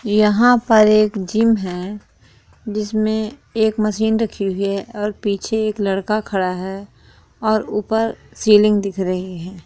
यहाँ पर एक जीम है जिसमे एक मशीन रखी हुई है और पीछे एक लड़का खड़ा है और ऊपर सीलिंग दिख रही है।